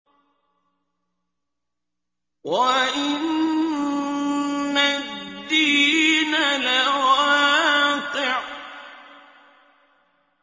وَإِنَّ الدِّينَ لَوَاقِعٌ